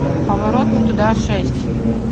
поворот не туда шесть